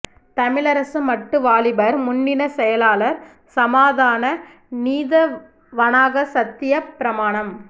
தமிழரசு மட்டு வாலிபர் முன்னணிச் செயலாளர் சமாதான நீதவானாகச் சத்தியப் பிரமாணம்